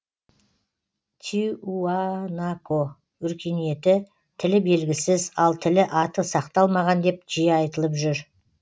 тиуанако өркениеті тілі белгісіз ал тілі аты сақталмаған деп жиі айтылып жүр